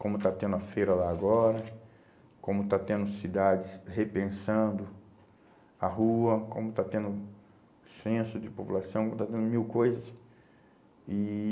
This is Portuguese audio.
Como está tendo a feira lá agora, como está tendo cidades repensando a rua, como está tendo censo de população, como está tendo mil coisas. E